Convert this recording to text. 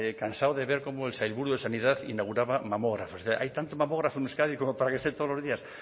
cansado de ver cómo el sailburu de sanidad inauguraba mamógrafos hay tanto mamógrafo en euskadi como para que esté todos los días